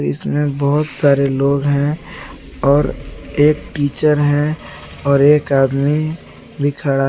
इसमें बहोत सारे लोग हैं और एक टीचर है एक आदमी भी खड़ा--